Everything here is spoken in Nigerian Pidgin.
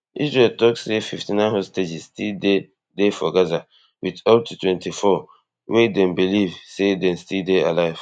israel tok say fifty-nine hostages still dey dey for gaza wit up to twenty-four wey dem believe say dem still dey alive